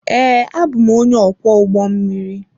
Ee, abụ m onye ọkwọ ụgbọ mmiri.